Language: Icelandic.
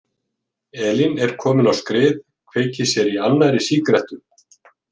Elín er komin á skrið, kveikir sér í annarri sígarettu.